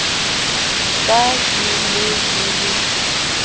ka ke ne ke le